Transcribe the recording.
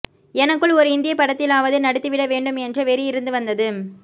எனக்குள் ஒரு இந்தியப் படத்திலாவது நடித்து விட வேண்டும் என்ற வெறி இருந்து வந்தது